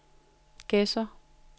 Gedser